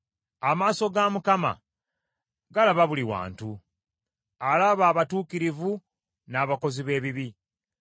Amaaso ga Mukama galaba buli wantu, alaba abatuukirivu n’abakozi b’ebibi.